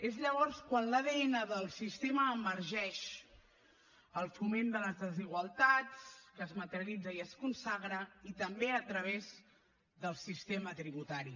és llavors quan l’adn del sistema emergeix el foment de les desigualtats que es materialitza i es consagra i també a través del sistema tributari